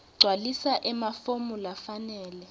gcwalisa emafomu lafanele